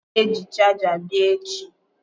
M ga-eji chaja abia echi.